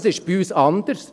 Das ist bei uns anders.